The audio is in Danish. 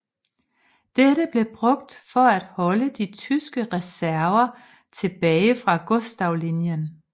Dette blev brugt for at holde de tyske reserver tilbage fra Gustavlinjen